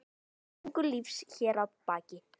Söngur lífs hér að baki.